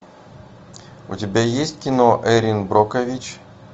у тебя есть кино эрин брокович